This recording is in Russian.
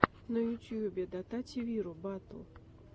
в ютьюбе дотативиру батл